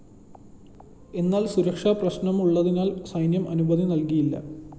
എന്നാല്‍ സുരക്ഷാ പ്രശ്‌നമുള്ളതിനാല്‍ സൈന്യം അനുമതി നല്‍കിയില്ല